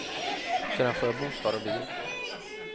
Sedan får jag bostad och bil.